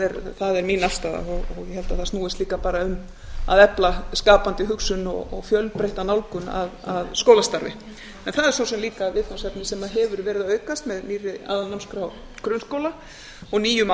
ofar það er mín afstaða og ég held að það snúist líka bara um að efla skapandi hugsun og fjölbreytta nálgun að skólastarfi en það er svo sem líka viðfangsefni sem hefur verið að aukast með nýrri aðalnámskrá grunnskóla og nýjum